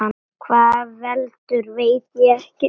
Hvað veldur, veit ég ekki.